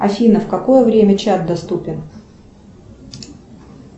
афина в какое время чат доступен